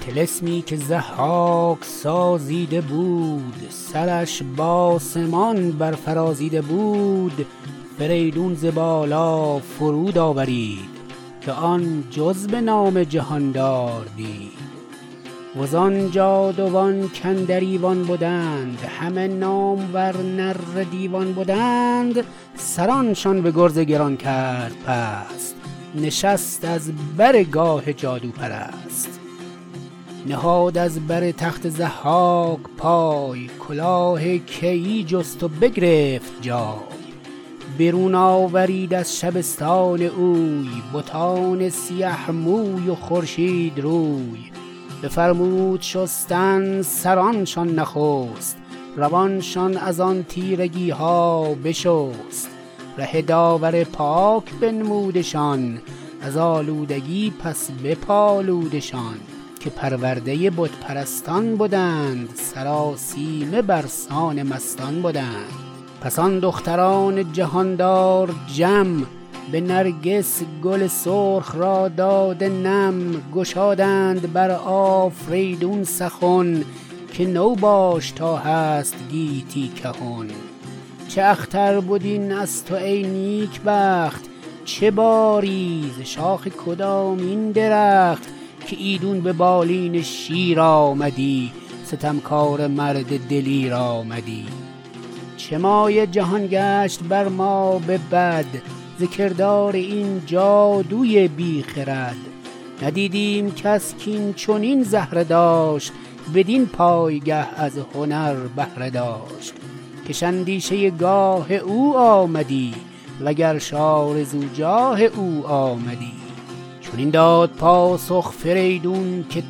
طلسمی که ضحاک سازیده بود سرش به آسمان بر فرازیده بود فریدون ز بالا فرود آورید که آن جز به نام جهاندار دید و زآن جادوان کاندر ایوان بدند همه نامور نره دیوان بدند سرانشان به گرز گران کرد پست نشست از بر گاه جادوپرست نهاد از بر تخت ضحاک پای کلاه کیی جست و بگرفت جای برون آورید از شبستان اوی بتان سیه موی و خورشید روی بفرمود شستن سرانشان نخست روانشان از آن تیرگی ها بشست ره داور پاک بنمودشان ز آلودگی پس بپالودشان که پرورده بت پرستان بدند سرآسیمه بر سان مستان بدند پس آن دختران جهاندار جم به نرگس گل سرخ را داده نم گشادند بر آفریدون سخن که تو باش تا هست گیتی کهن چه اختر بد این از تو ای نیک بخت چه باری ز شاخ کدامین درخت که ایدون به بالین شیر آمدی ستمکاره مرد دلیر آمدی چه مایه جهان گشت بر ما به بد ز کردار این جادوی بی خرد ندیدیم کس کاین چنین زهره داشت بدین پایگه از هنر بهره داشت کش اندیشه گاه او آمدی و گرش آرزو جاه او آمدی چنین داد پاسخ فریدون که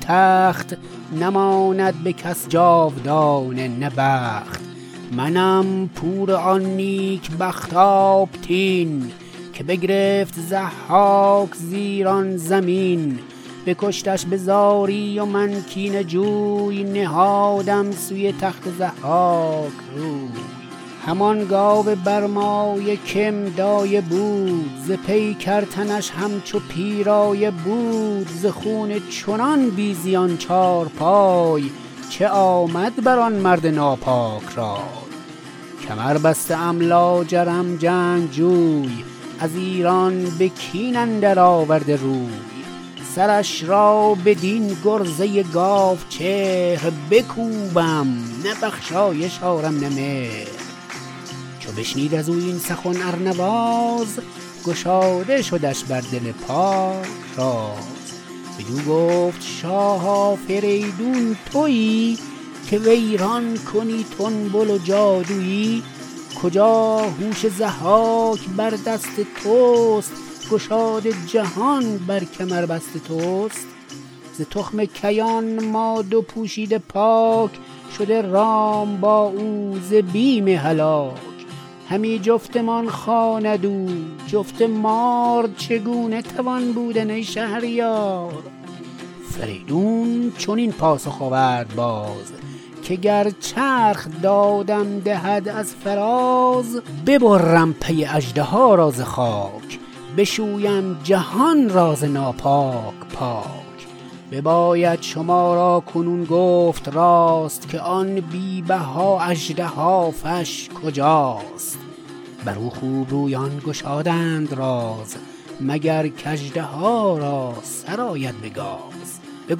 تخت نماند به کس جاودانه نه بخت منم پور آن نیک بخت آبتین که بگرفت ضحاک ز ایران زمین بکشتش به زاری و من کینه جوی نهادم سوی تخت ضحاک روی همان گاو برمایه که م دایه بود ز پیکر تنش همچو پیرایه بود ز خون چنان بی زبان چارپای چه آمد بر آن مرد ناپاک رای کمر بسته ام لاجرم جنگجوی از ایران به کین اندر آورده روی سرش را بدین گرزه گاو چهر بکوبم نه بخشایش آرم نه مهر چو بشنید از او این سخن ارنواز گشاده شدش بر دل پاک راز بدو گفت شاه آفریدون تویی که ویران کنی تنبل و جادویی کجا هوش ضحاک بر دست تست گشاد جهان بر کمربست تست ز تخم کیان ما دو پوشیده پاک شده رام با او ز بیم هلاک همی جفتمان خواند او جفت مار چگونه توان بودن ای شهریار فریدون چنین پاسخ آورد باز که گر چرخ دادم دهد از فراز ببرم پی اژدها را ز خاک بشویم جهان را ز ناپاک پاک بباید شما را کنون گفت راست که آن بی بها اژدهافش کجاست بر او خوب رویان گشادند راز مگر کاژدها را سر آید به گاز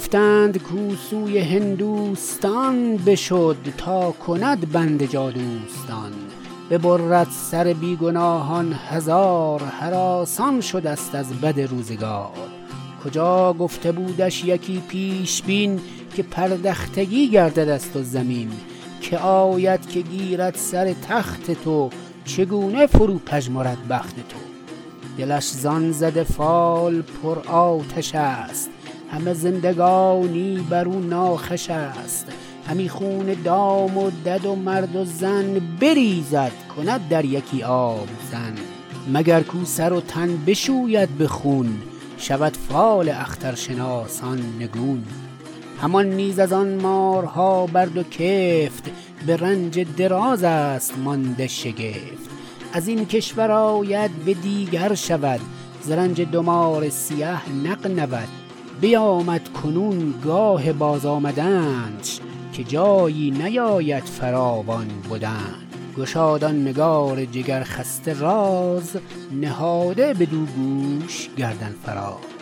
بگفتند کاو سوی هندوستان بشد تا کند بند جادوستان ببرد سر بی گناهان هزار هراسان شده ست از بد روزگار کجا گفته بودش یکی پیشبین که پردختگی گردد از تو زمین که آید که گیرد سر تخت تو چگونه فرو پژمرد بخت تو دلش زآن زده فال پر آتش است همه زندگانی بر او ناخوش است همی خون دام و دد و مرد و زن بریزد کند در یکی آبدن مگر کاو سر و تن بشوید به خون شود فال اخترشناسان نگون همان نیز از آن مارها بر دو کفت به رنج دراز است مانده شگفت از این کشور آید به دیگر شود ز رنج دو مار سیه نغنود بیامد کنون گاه بازآمدنش که جایی نباید فراوان بدنش گشاد آن نگار جگر خسته راز نهاده بدو گوش گردن فراز